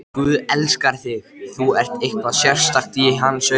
Guð elskar þig, þú ert eitthvað sérstakt í hans augum.